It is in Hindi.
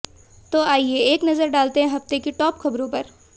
तो आइये एक नज़र डालते हैं हफ्ते की टॉप खबरों पर